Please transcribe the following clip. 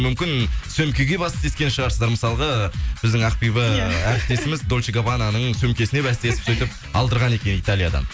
мүмкін сөмкеге бәстескен шығарсыздар мысалғы біздің ақбибі әріптесіміз дольче габбананың сөмкесіне бәстесіп сөйтіп алдырған екен италиядан